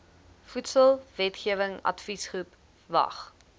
voedselwetgewing adviesgroep vwag